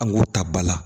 An k'o ta ba la